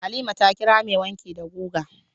Halima ta kira mai wanki da guga.